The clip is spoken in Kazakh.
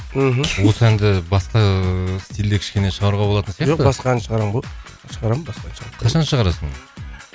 мхм осы әнді басқа ыыы стильде кішкене шығаруға болатын сияқты жоқ басқа ән шығарамын ғой шығарамын басқа ән қашан шығарасың